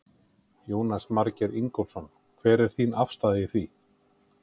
Jónas Margeir Ingólfsson: Hver er þín afstaða í því?